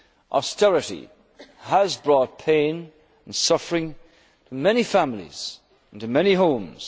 debt. Austerity has brought pain and suffering to many families and to many